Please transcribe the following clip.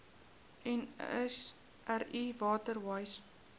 nsri water wise